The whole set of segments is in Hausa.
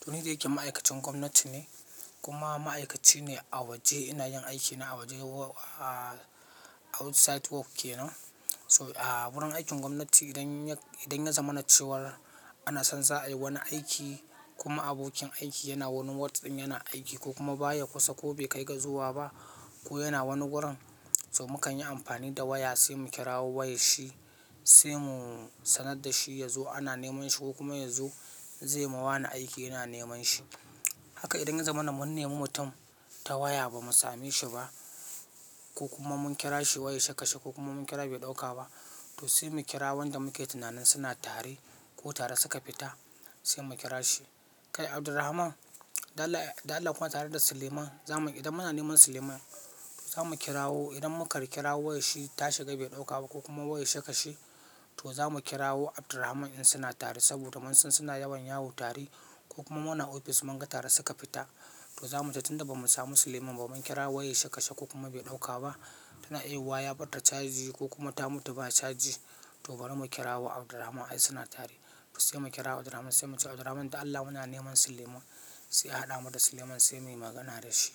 To ni da yake ma'aikacin gwamnati ne kuma ma'aikaci ne a waje ina yin aiki na a waje outside work kenan. So a wurin aikin gwamnati idan yak-- idan ya zamanace war ana son za a yi wani aiki kuma abokin aiki yana wani ward in yana aiki ko kuma baya kusa ko bai kai gazuwa ba ko yana wani wurin, so mukan yi amfani da waya sai mu kirawo wayar shi sai mu sanar da shi ya zo ana neman shi ko kuma ya zo zai ma wani aiki yana neman shi. Haka idan ya zama na mun nemi mutum ta waya bamu same shi ba ko kuma mun kira shi wai ya shakashi ko kuma mun kira bai ɗauka ba, to sai mu kira wanda muke tunanin suna tare ko tare suka fita sai mu kira shi. Kai Abdurrahman, da Allah da Allah kuna tare da Suleiman, zamu idan muna neman Suleiman zamu kira wo idan muka kira wo wayar shi ta shiga bai ɗauka ba ko kuma wayar shi aka shi, to za mu kira wo Abdurrahman in suna tare saboda mun san suna yawan yawo tare ko kuma muna ofis mun ga tare suka fita. To za mu ce tunda bamu samu Suleiman ba mun kira wayar shi aka shi ko kuma bai ɗauka ba, tana iya yiyuwa ya ɓarta caji ko kuma ta mutu ba ta caji to bari mu kira wo Abdurrahman ai suna tare. To sai mu kira Abdurrahman sai mu ce Abdurrahman da Allah muna neman Suleiman sai ya haɗa mu da Suleiman sai muyi magana da shi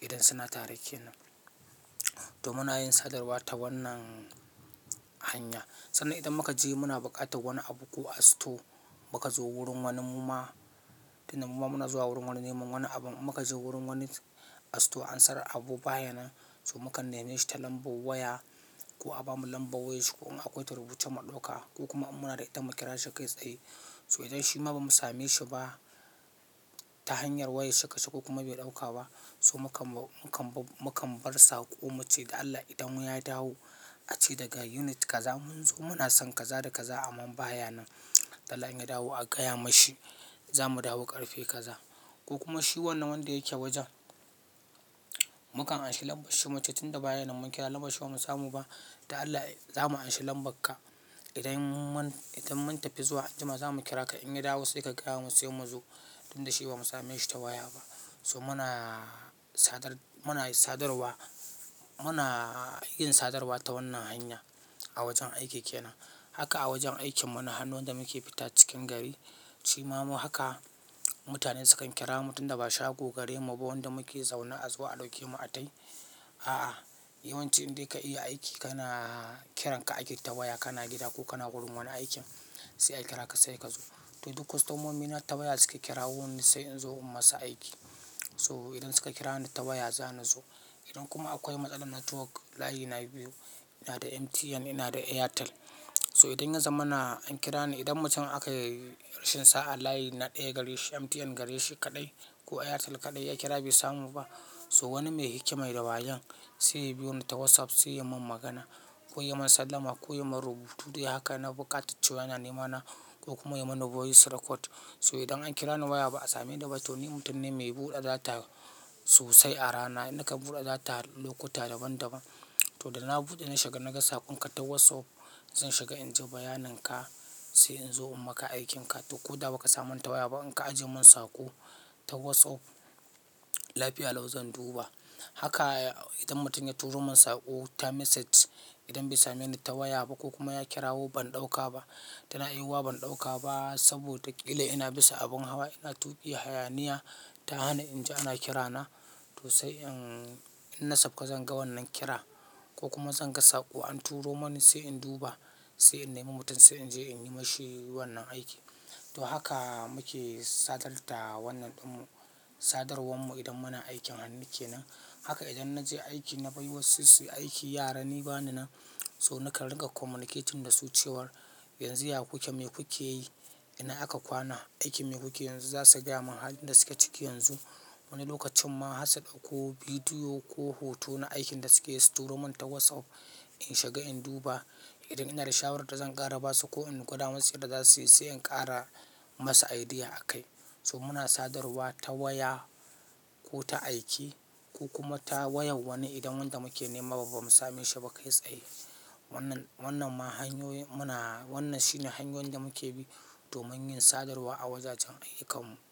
idan suna tare kenan. To muna yin sadarwa ta wannan hanya. Sannan idan muka je muna buƙatar wani abu ko a store muka zo wurin wani muma tunda muma muna zuwa wurin wani neman wani abun muka je wurin wani a store an sare abu baya nan so muka neme shi ta lambar waya ko a bamu lambar wayar shi ko an akwace ta rubuce mu ɗauka ko kuma muna da ita mu kira shi kai tsaye. So idan shima bamu same shi ba ta hanyar wayar shi aka shi ko kuma bai ɗauka ba so mukan ba-mukan ba-mukan bar sa ko mu ce da Allah idan ya dawo a ce daga unit kaza mun zo muna son kaza da kaza aman baya nan. Allah in ya dawo a gaya mashi za mu dawo ƙarfe kaza. Ko kuma shi wannan wanda yake wajen, mukan anshi lambar shi mu ce tunda baya nan mun kira lambar shi ba mu samu ba da Allah za mu anshe lambar ka. Idan mun idan mun tafi zuwa an jima zamu kiraka in ya dawo sai ka gayamin sai mu zo tunda shi bamu sameshi ta waya ba so muna sadar muna sadarwa muna yin sadarwa ta wannan hanyar a wajen aiki kenan haka a wajen aikinmu na hannu wanda. Muke fita cikin gari. Shima haka mutane sukan kira mu tunda ba shago gari mabu wanda muke zaune a zuwa a ɗauke mu a tai. A'a, yawanci idan ka'iya aiki kana kiranka aiki ta waya kana gida ko kana wurin wani aikin sai a kira ka sai ka zo. To duk kwastomomina ta waya suke kirawo ni sai in zo in masa aiki. So idan suka kira ni ta waya za ni zo. Idan kuma akwai matsalar network layi na biyu, ina da MTN ina da Airtel. So idan ya zama na an kira ni idan mutum aka rashin sa a layi na ɗaya gare shi MTN gare shi kaɗai ko Airtel kaɗai ya kira bai samu ba so wani mai hikma ya da wayan sai ya biyo ni ta WhatsApp sai ya mun magana ko ya mun sallama ko ya mun rubutu dai haka na buƙatar cewan ina nemana ko kuma ya mun number voice record. So idan an kira ni waya ba a same ni da ba to ni mutum ne mai buɗe data sosai a rana. Na ka buɗe data lokuta daban daban. To da na bude na shiga naga sakonka ta Whatsapp zan shiga inji bayaninka sai inzo in maka aikinka to ko da ba ka samu ta waya ba in ka ajiye mun sako ta WhatsApp lafiya lau zan duba. Haka idan mutum ya turo mun sako ta message idan bai same ni ta waya ba ko kuma ya kira wo ban ɗauka ba, tana aiwawa ban ɗauka ba saboda ƙila ina bisa abin hawa ina tuƙi hayaniya ta hana in ji ana kira na to sai in-in na saf ka zan ga wannan kira ko kuma zan ga saƙo an turo mani sai in duba sai in nemi mutum sai in je in yi mashi wannan aiki. To haka muke sadar da wannan ɗinmu sadarwar mu idan muna aikin hannu kenan. Haka idan na je aiki na bai wa su su aiki yara ni bani nan so nakan ringa communicating da su cewar yanzu ya kuke me kuke yi? Ina aka kwana? Aikin me kuke yanzu? Za su gaya mun halin da suke ciki yanzu. Wani lokacin ma har su dauko video ko hoto na aikin da suke yi su turomin ta Whatsapp in shiga in duba idan ina da shawarar da zan ƙara basu ko in gwada wasu yadda zasu yi sai in ƙara masa idea a kai. So muna sadarwa ta waya ko ta aiki ko kuma ta wayan wani idan wanda muke nema ba mu same shi ba kai tsaye. Wannan wannan ma hanyoyin muna wannan shine hanyoyin da muke bi domin yin sadarwa a wajajen aiyukan mu.